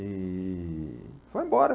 E foi embora.